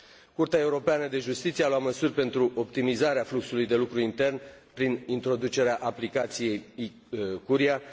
Curtea Europeană de Justiție a luat măsuri pentru optimizarea fluxului de lucru intern, prin introducerea aplicației e Curia.